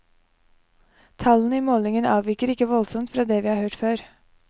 Tallene i målingen avviker ikke voldsomt fra det vi har hørt før.